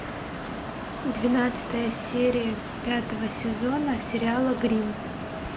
двенадцатая серия пятого сезона сериала гримм